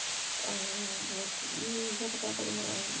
аа вот и я такая подумала